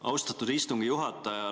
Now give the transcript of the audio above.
Austatud istungi juhataja!